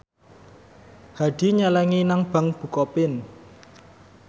Hadi nyelengi nang bank bukopin